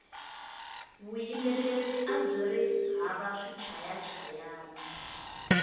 vuyimbeleri abyiri hava swichayachayani